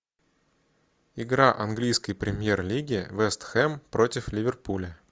игра английской премьер лиги вест хэм против ливерпуля